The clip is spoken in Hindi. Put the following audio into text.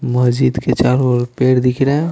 मस्जिद के चारों ओर पेड़ दिख रहे हैं।